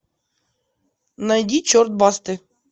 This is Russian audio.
найди черт басты